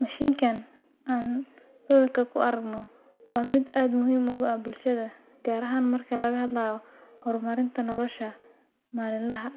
Mishinkan aan aragno waa mid aad muhiim u